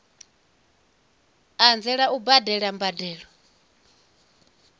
u anzela u badela mbadelo